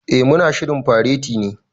Eh, mu na shirin fareti ne.